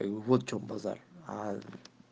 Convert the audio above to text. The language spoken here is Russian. как бы вот в чем базар аа